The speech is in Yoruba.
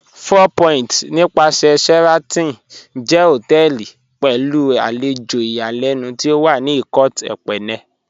Four Point nípàsẹ̀ Sheraton jẹ́ hotẹẹli pẹ̀lú alẹjò ìyàlẹnu tí ó wà ní Ikot Ekpene